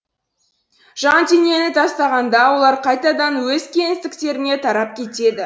жан денені тастағанда олар қайтадан өз кеңістіктеріне тарап кетеді